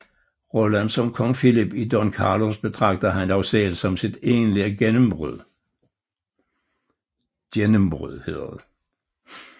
Rollen som Kong Philip i Don Carlos betragtede han dog selv som sit egentlige gennembrud